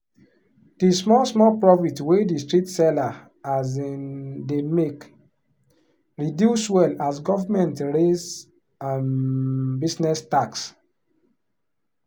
the small-small profit wey the street seller um dey make reduce well as government raise um business tax.